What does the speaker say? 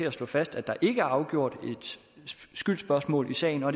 at slå fast at der ikke er afgjort et skyldsspørgsmål i sagen og